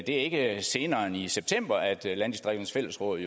ikke senere end i september at landdistrikternes fællesråd